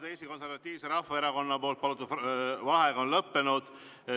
Eesti Konservatiivse Rahvaerakonna palutud vaheaeg on lõppenud.